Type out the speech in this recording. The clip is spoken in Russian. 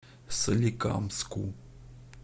соликамску